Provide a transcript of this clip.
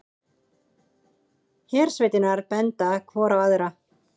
Hersveitirnar benda hvor á aðra